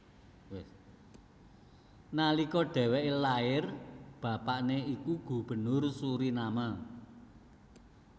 Nalika dhèwèké lair bapané iku Gubernur Suriname